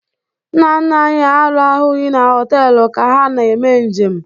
Nna nna anyị arahụghị na họtelụ ka ha na-eme njem.